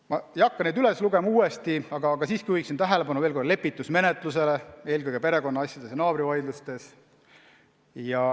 Ma ei hakka neid uuesti üles lugema, aga juhin veel kord tähelepanu lepitusmenetlusele, eelkõige perekonnaasjades ja naabrivaidlustes.